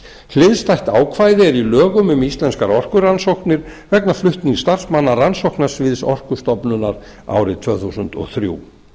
hliðstætt ákvæði er í lögum um íslenskar orkurannsóknir vegna flutnings starfsmanna rannsóknasviðs orkustofnunar árið tvö þúsund og þrjú